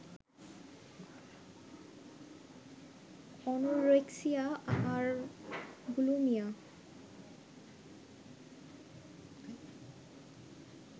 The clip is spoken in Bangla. অ্যনোরেক্সিয়া আর বুলিমিয়া